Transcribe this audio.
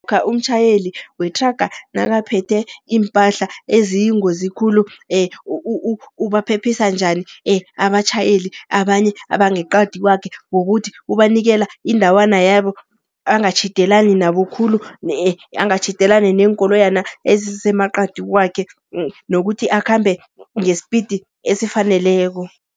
umtjhayeli wethraga nakaphethe iimpahla eziyingozi khulu ubaphephisa njani abatjhayeli abanye abangeqadi kwakhe ngokuthi ubanikela indawana yabo angatjhidelani nabo khulu, angatjhidelani neenkoloyana ezisemaqadi kwakhe nokuthi akhambe ngesipidi esifaneleko.